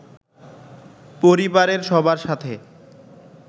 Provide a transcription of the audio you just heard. পরিবারের সবার সাথে